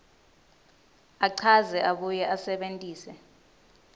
achaze abuye asebentise